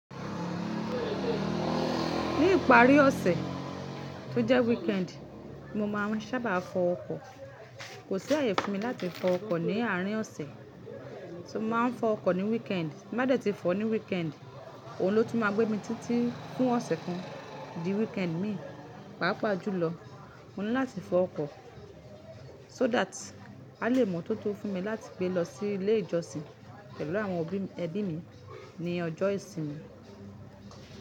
Ní ìparí ọ̀sẹ̀ tó jẹ́ weekend, mo máa n sábà fọ ọkọ̀. Kò sí àyè fún mi láti fọ ọkọ̀ ní àárín ọ̀sẹ̀, so mo máa n fọ ọkọ̀ ní weekend. Ti n ba de tí fọ̀ ní weekend, òun ló tún máa gbé mi títí fún ọ̀sẹ̀ kan, di weekend mi. Pàápàá jùlọ, mo ní láti fọ ọkọ̀ so that a lè mọ̀ tótó fún mi láti gbé lọ sí ilé ìjọsìn pẹ̀lú àwọn ẹbí mi ní ọjọ́ ìsinmi.